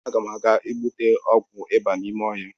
Agam aga igbute ọgwụ ịba n’ime ọhịa